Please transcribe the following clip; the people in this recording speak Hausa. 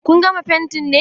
Kun gama fentin ne?